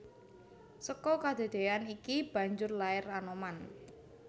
Seka kedadeyan iki banjur lair Anoman